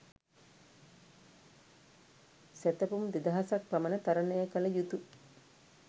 සැතපුම් දෙදහසක් පමණ තරණය කළ යුතු